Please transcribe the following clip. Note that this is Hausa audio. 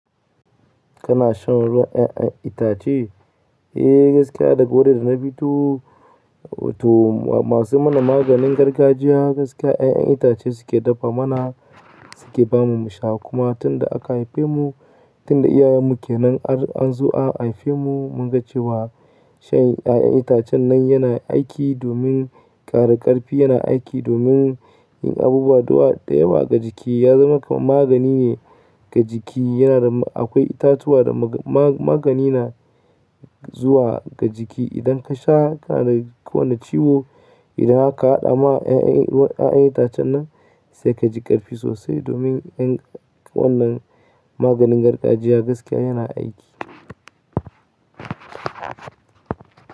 Kana shan ruwan 'ya'yan itace? Eh gaskiya daga wurin da na fito to masu mana maganin gargajiya gaskiya 'ya'yan itace suke dafa mana, suke bamu mu sha kuma tunda aka haife mu, tunda iyayen mu kenan har an zo an haife mu mun ga cewa shan 'ya'yan itacen nan yana aiki domin ƙara ƙarfi, yana aiki domin yin abubuwa da yawa ga jiki. Ya zama kaman magani ne ga jiki. Yana da akwai itatuwa da ma-ma-magani na zuwa ga jiki. Idan ka sha kana da kowane ciwo, idan aka hada ma 'ya'yan ruwan 'ya'yan itacen nan sai ka ji ƙarfi sosai domin yan wannan maganin gargajiya gaskiya yana aiki.